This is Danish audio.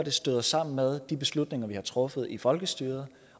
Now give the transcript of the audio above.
støder sammen med de beslutninger vi har truffet i folkestyret